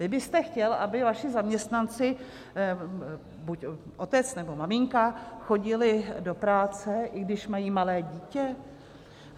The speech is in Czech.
Vy byste chtěl, aby vaši zaměstnanci, buď otec, nebo maminka, chodili do práce, i když mají malé dítě?